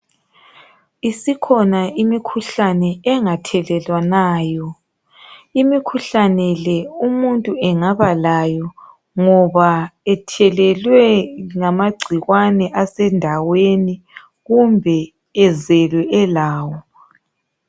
Isikhona imikhuhlane engathelelwanayo .Imikuhlane le umuntu engaba layo ngoba ethelelwe ngamagcikwane asendaweni kumbe ezelwe elawo.